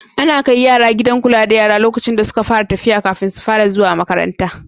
Ana kai yara gidan kula da yara lokacin da suka fara tafiya kafin su fara zuwa makaranta.